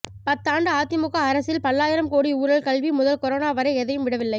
பத்தாண்டு அதிமுக அரசில் பல்லாயிரம் கோடி ஊழல் கல்வி முதல் கொரோனா வரை எதையும் விடவில்லை